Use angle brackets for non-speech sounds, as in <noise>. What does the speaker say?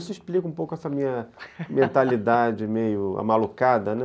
Isso explica um pouco essa minha <laughs> mentalidade meio amalucada, né?